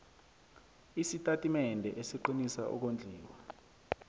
isitatimende esiqinisa ukondliwa